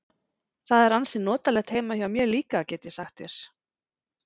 Það er ansi notalegt heima hjá mér líka, get ég sagt þér.